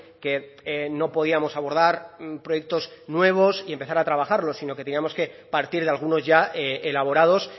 que no podíamos abordar proyectos nuevos y empezar a trabajarlos sino que teníamos que partir de algunos ya elaborados